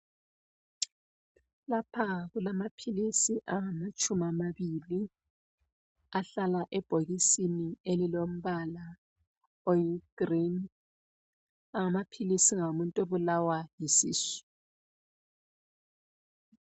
Lapha kulamaphilisi angamatshumi amabili ahlala ebhokisini elilombala oyigreen. Amaphilisi ngawomuntu obulawa yisisu.